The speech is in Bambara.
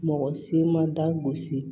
Mɔgɔ si man da gosi